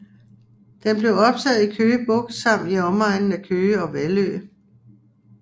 Den blev optaget i Køge Bugt samt i omegnen af Køge og Vallø